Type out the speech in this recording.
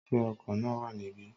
Is the bus here?